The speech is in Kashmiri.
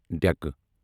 ڈیکہِ